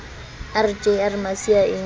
r j r masiea e